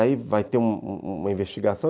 Aí vai ter uma uma investigação.